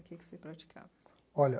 Que que você praticava? Olha